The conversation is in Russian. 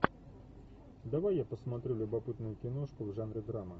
давай я посмотрю любопытную киношку в жанре драма